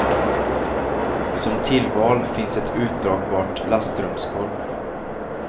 Som tillval finns ett utdragbart lastrumsgolv.